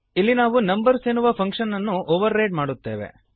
ಇಲ್ಲಿ ನಾವು ನಂಬರ್ಸ್ ಎನ್ನುವ ಫಂಕ್ಶನ್ ಅನ್ನು ಓವರ್ ರೈಡ್ ಮಾಡುತ್ತೇವೆ